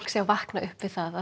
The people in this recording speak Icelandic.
sé að vakna upp við að